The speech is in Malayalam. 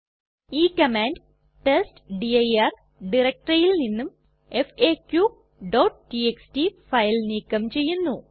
ഈ കമാൻഡ് ടെസ്റ്റ്ഡിർ ഡയറക്ടറിയിൽ നിന്നും faqടിഎക്സ്ടി ഫയൽ നീക്കം ചെയ്യുന്നു